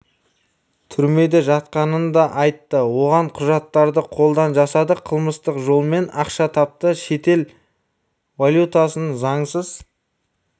түрмеде жатқанын да айтты оған құжаттарды қолдан жасады қылмыстық жолмен ақша тапты шетел валютасын заңсыз